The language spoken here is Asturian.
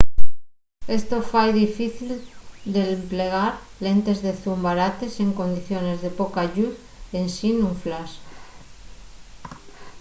esto fai difícil l’emplegar lentes de zoom barates en condiciones de poca lluz ensin un flash